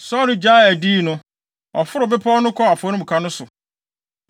Saulo gyaee adiyi no, ɔforoo bepɔw no kɔɔ afɔremuka no so.